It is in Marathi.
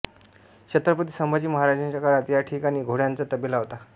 छत्रपती संभाजी महाराजांच्या काळात या ठिकाणी घोड्यांचा तबेला होता